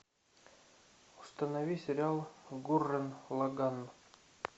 установи сериал гуррен лаганн